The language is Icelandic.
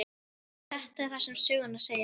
En þetta er það sem sögurnar segja.